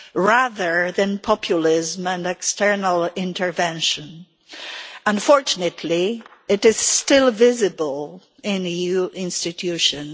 rather than populism and external intervention. Unfortunately, it is still visible in the EU institutions.